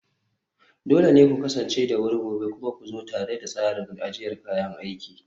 dole ne ku kasance da wuri gobe, kuma ku zo tare da tsarin ajiyar kayan aiki